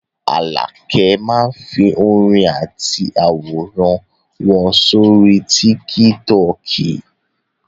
Àlàkẹ́ máá ń fi orin àti àwòrán wọn sórí tíkítọọ̀kì